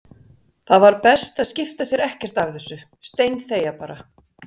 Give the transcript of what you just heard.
Það var best að skipta sér ekkert af þessu, steinþegja bara.